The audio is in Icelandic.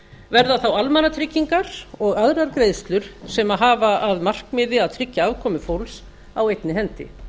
verða þá almannatryggingar og aðrar greiðslur sem hafa að markmiði að tryggja afkomu fólks á einni hendi